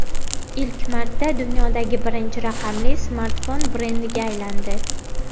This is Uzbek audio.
ilk marta dunyodagi birinchi raqamli smartfon brendiga aylandi.